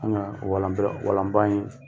An ka walan bila walan ba in